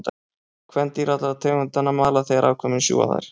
Kvendýr allra tegundanna mala þegar afkvæmin sjúga þær.